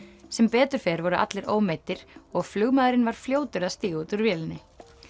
sem betur fer voru allir ómeiddir og flugmaðurinn var fljótur að stíga út úr flugvélinni